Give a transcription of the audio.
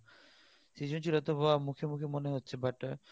সৃজনশীল হয়তোবা মুখে মুখে বলা হচ্ছে but